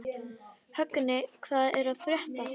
Högni, hvað er að frétta?